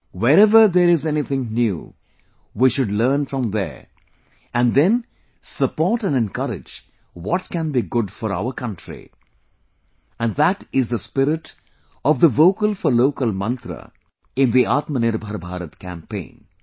Wherever there is anything new, we should learn from there and then support and encourage what can be good for our countryand that is the spirit of the Vocal for Local Mantra in the Atmanirbhar Bharat campaign